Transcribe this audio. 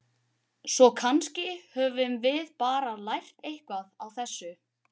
Svo kannski höfum við bara lært eitthvað á þessu.